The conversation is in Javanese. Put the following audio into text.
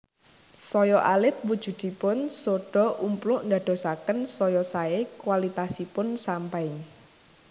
Saya alit wujudipun sodha/umpluk ndadosaken saya saé kwalitasipun sampanye